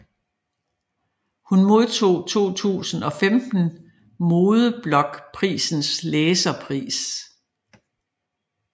Hun modtog i 2015 Modeblogprisens læserpris